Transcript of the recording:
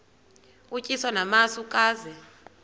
utyiswa namasi ukaze